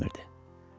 Heybətimərdə.